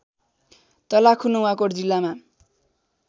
तलाखु नुवाकोट जिल्लामा